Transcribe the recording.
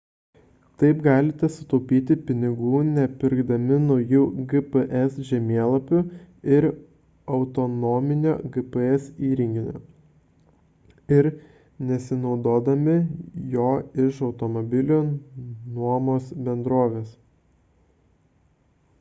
taip galite sutaupyti pinigų nepirkdami naujų gps žemėlapių ar autonominio gps įrenginio ir nesinuomodami jo iš automobilių nuomos bendrovės